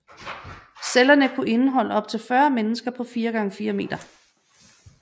Cellerne kunne indeholde op til 40 mennesker på 4x4 meter